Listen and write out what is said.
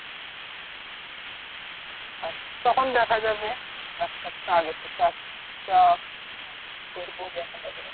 আহ তখন দেখা যাবে, এক সপ্তাহ আগে থেকে আসবো বা কি করব দেখা যাবে তখন